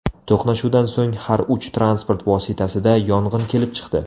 To‘qnashuvdan so‘ng har uch transport vositasida yong‘in kelib chiqdi.